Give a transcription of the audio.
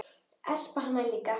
Ég espa hana líka.